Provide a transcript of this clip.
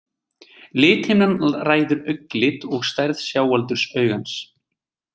Lithimnan ræður augnlit og stærð sjáaldurs augans.